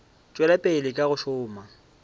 tšwela pele ka go šoma